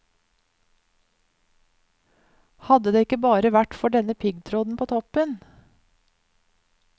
Hadde det bare ikke vært for den piggtråden på toppen.